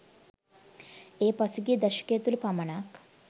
එය පසුගිය දශකය තුළ පමණක්